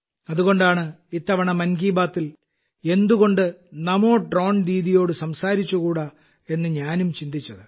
അതുകൊണ്ടാണ് ഇത്തവണ മൻ കി ബാത്തിൽ എന്തുകൊണ്ട് നമോ ഡ്രോൺ ദീദിയോട് സംസാരിച്ചുകൂടാ എന്ന് ഞാനും ചിന്തിച്ചത്